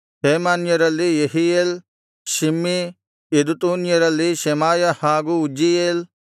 ಹೇಮಾನ್ಯರಲ್ಲಿ Jehiel Shimei ಯೆದೂತೂನ್ಯರಲ್ಲಿ Shemaiah ಹಾಗು Uzziel